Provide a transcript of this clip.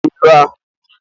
Ee, aghotara m ilu ahụ.